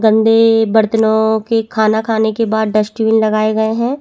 गंदे बर्तनों की खाना खाने के बाद डस्टबिन लगाए गए है।